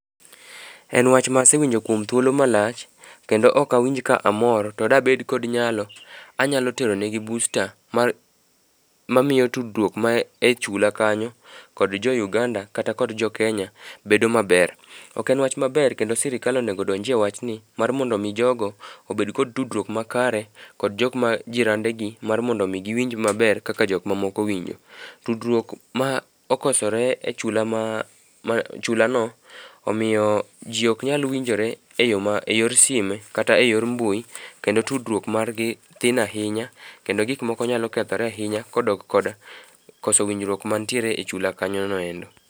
En wach ma asewinjo kuom thuolo malach kendo ok awinj ka amor to dabed kod nyalo, anyalo tero negi booster mamiyo tudruok ma e chula kanyo kod jo Ugnada kata kod Jokenya bedo maber. Ok en wach maber kendo sirikal onego odonjie wachni mar mondo omi jogo obed kod tudruok makare, kod jok ma jirandegi mar mondo omi giwinj maber kaka jok mamoko winjo. Tudruok ma okosore e chulano omiyo ji ok nyal winjore e yor sime kata e yor mbui, kendo tudruok margi tin ahinya ,kendo gik moko nyalo kethore ahinya kodok kod koso winjruok mantiere e chula kanyono endo.